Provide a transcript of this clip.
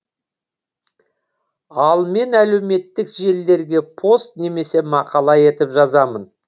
ал мен әлеуметтік желілерге пост немесе мақала етіп жазамын